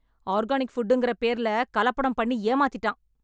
Organic ஃபுட்ங்கிற பேர்ல கலப்படம் பண்ணி ஏமாத்திட்டான்.